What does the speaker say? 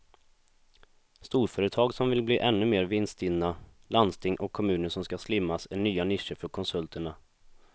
Storföretag som vill bli ännu mer vinststinna, landsting och kommuner som ska slimmas är nya nischer för konsulterna.